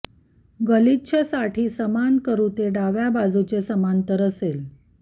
गलिच्छ साठी समान करू ते डाव्या बाजूचे समांतर असेल